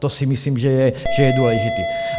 To si myslím, že je důležité.